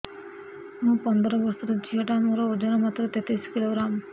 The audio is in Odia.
ମୁ ପନ୍ଦର ବର୍ଷ ର ଝିଅ ଟା ମୋର ଓଜନ ମାତ୍ର ତେତିଶ କିଲୋଗ୍ରାମ